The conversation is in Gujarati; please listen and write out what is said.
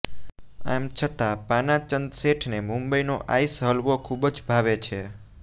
આમ છતાં પાનાચંદ શેઠને મુંબઇનો આઇસ હલવો ખૂબ જ ભાવે છે